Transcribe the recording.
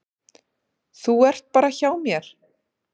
Þú ert bara hjá mér.